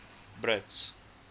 brits